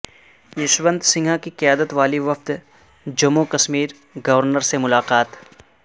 یشونت سنہا کی قیادت والی وفد کا جموں وکشمیر کے گورنر سے ملاقات